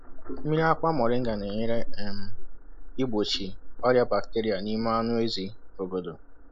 Mmiri akwa moringa na-enyere um igbochi ọrịa bacteria n’ime anụ ezi obodo.